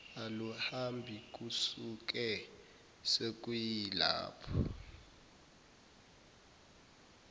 aluhambi kusuke sekuyilapho